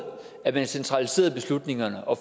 at man centraliserede beslutningerne og